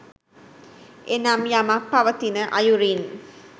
එනම් යමක් පවතින අයුරින්